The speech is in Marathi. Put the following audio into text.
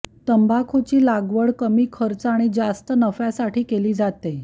तंबाखूची लागवड कमी खर्च आणि जास्त नफ्यासाठी केली जाते